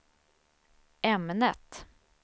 ämnet